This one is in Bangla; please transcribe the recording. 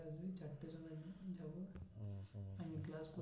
আমি class